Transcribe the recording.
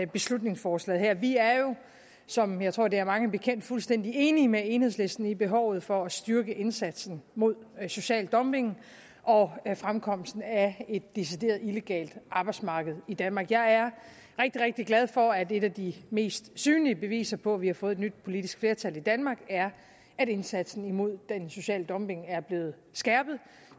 beslutningsforslaget her vi er jo som jeg tror det er mange bekendt fuldstændig enige med enhedslisten i behovet for at styrke indsatsen mod social dumping og fremkomsten af et decideret illegalt arbejdsmarked i danmark jeg er rigtig rigtig glad for at et af de mest synlige beviser på at vi har fået et nyt politisk flertal i danmark er at indsatsen mod den sociale dumping er blevet skærpet